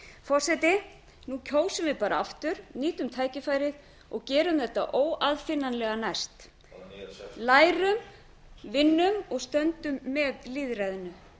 forseti nú kjósum við bara aftur nýtum tækifærið og gerum þetta óaðfinnanlega næst lærum vinnum og stöndum með lýðræðinu